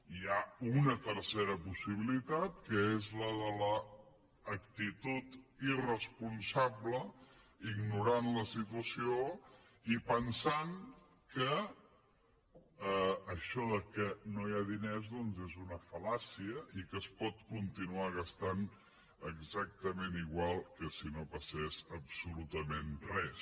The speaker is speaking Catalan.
i hi ha una tercera possibilitat que és la de l’actitud irresponsable ignorant la situació i pensant que això que no hi ha diners és una fal·làcia i que es pot continuar gastant exactament igual que si no passés absolutament res